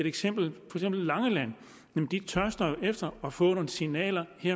eksempel langeland tørster man efter at få nogle signaler